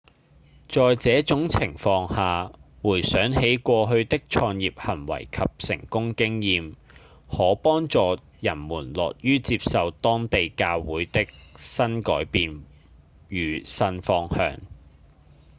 在這種情況下回想起過去的創業行為及成功經驗可幫助人們樂於接受當地教會的新改變與新方向